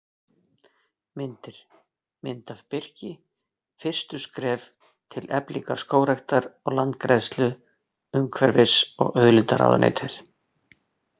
Myndir: Mynd af birki: Fyrstu skref til eflingar skógræktar og landgræðslu Umhverfis- og auðlindaráðuneytið.